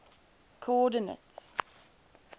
coordinates